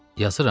Yazıram?